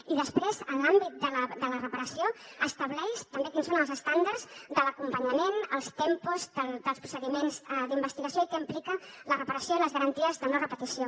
i després en l’àmbit de la reparació estableix també quins són els estàndards de l’acompanyament els tempos dels procediments d’investigació i què implica la reparació i les garanties de no repetició